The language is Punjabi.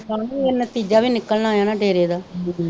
ਨਤੀਜਾ ਵੀ ਨਿਕਲਣਾ ਆ ਨਾ ਡੇਰੇ ਦਾ